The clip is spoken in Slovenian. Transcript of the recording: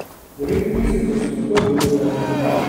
Devet mesecev smo trdo delali.